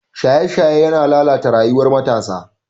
Shaye-shaye yana lalata rayuwar matasa.